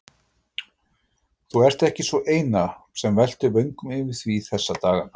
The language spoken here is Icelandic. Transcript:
Þú ert ekki sú eina, sem veltir vöngum yfir því þessa dagana